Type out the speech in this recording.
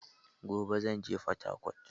Gobe zan je Fatakwat